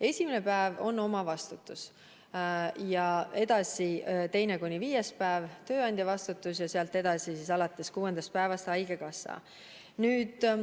Esimene päev on inimese omavastutus, teine kuni viies päev on tööandja vastutus ja sealt edasi alates kuuendast päevast kompenseerib haigekassa.